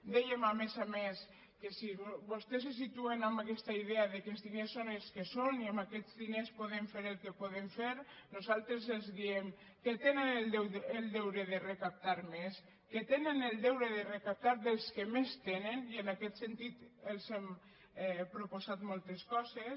dèiem a més a més que si vostès se situen en aquesta idea que els diners són els que són i amb aquests diners podem fer el que podem fer nosaltres els diem que tenen el deure de recaptar més que tenen el deure de recaptar dels que més tenen i en aquest sentit els hem proposat moltes coses